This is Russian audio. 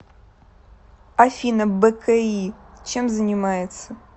афина бки чем занимается